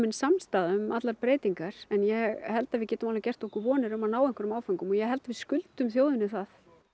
samstaða um allar breytingar en ég held að við getum alveg gert okkur vonir um að ná einhverjum áföngum og ég held að við skuldum þjóðinni það